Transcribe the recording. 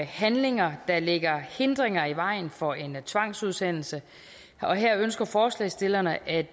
handlinger der lægger hindringer i vejen for en tvangsudsendelse og her ønsker forslagsstillerne at